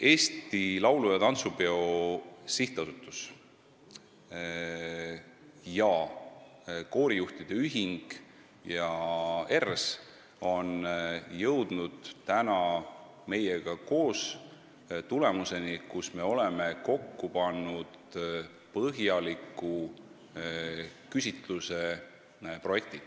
Eesti Laulu- ja Tantsupeo Sihtasutus, koorijuhtide ühing ja ERRS on jõudnud meiega koos tulemuseni: me oleme kokku pannud põhjaliku küsitluse projekti.